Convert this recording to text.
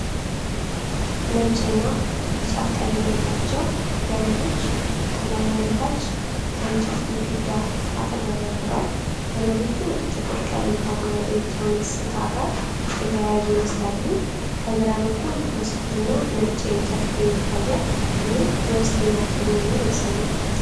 ነጭና ቢጫ ቀለም ያላቸው ገመዶች ከላይ ወደታች ከእንጨት ግድግዳ አጠገብ ወርደዋል። ገመዶቹ ጥቁር ቀለም ካለው ኤሌክትሮኒክስ ዕቃ ጋር የተያያዙ ይመስላሉ። ከግራ በኩል መስኮትና ነጭ የእንጨት ፍሬም ይታያል፤ ይህም የውስጠኛ ክፍል መሆኑን ያሳያል።